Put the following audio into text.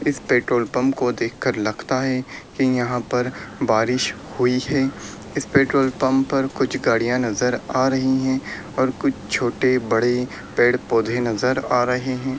इस petrol pump को देख कर लगता है की यहां पर बारिश हुई है इस पेट्रोल पंप पर कुछ गाड़ियां नजर आ रही है और कुछ छोटे-बड़े पेड़-पौधे नजर आ रहे है।